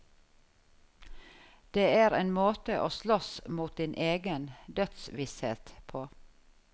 Det er en måte å slåss mot din egen dødsvisshet på.